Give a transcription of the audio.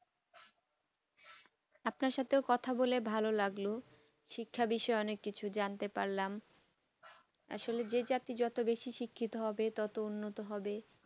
আপনার সঙ্গে কথা বলে ভালো লাগলো শিক্ষা বিষয়ে অনেক কিছু জানতে পারলাম আসলে যে জাতি যত বেশি শিক্ষিত হবে তত বেশি উন্নত হবে